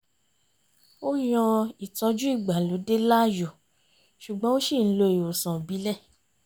ó yan ìtọ̀jú ìgbàlódé láàyò ṣùgbọ́n ó ṣì ń lo ìwòsàn ìbílẹ̀